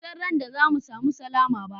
Ban san ran da za mu samu sallama ba.